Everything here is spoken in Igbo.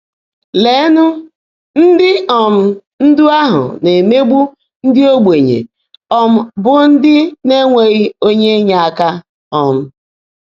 Leènụ́, ndị́ um ndụ́ áhụ́ ná-èméegbu ndị́ ógbènyé, um bụ́ ndị́ ná-énweghị́ óńyé ínyèèká! um